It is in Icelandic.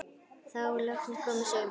Þá er loksins komið sumar.